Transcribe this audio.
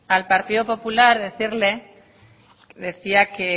al partido popular decía